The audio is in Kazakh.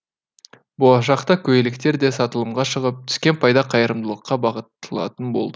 болашақта көйлектер де сатылымға шығып түскен пайда қайырымдылыққа бағытталатын болды